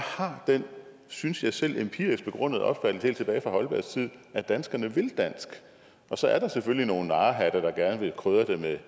har den synes jeg selv empirisk begrundede opfattelse helt tilbage fra holbergs tid at danskerne så er der selvfølgelig nogle narrehatte der gerne vil krydre det med